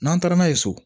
N'an taara n'a ye so